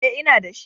E, ina da shi.